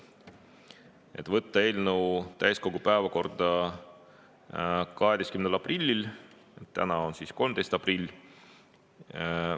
Otsustati võtta eelnõu täiskogu päevakorda 12. aprillil, täna on 13. aprill.